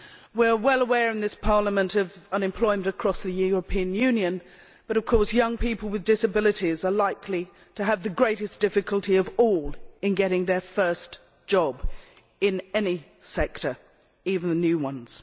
We are well aware in this Parliament of unemployment across the European Union, but of course young people with disabilities are likely to have the greatest difficulty of all in getting their first job in any sector, even the new ones.